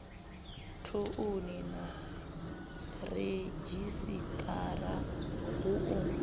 thouni na redzhisiṱara hu u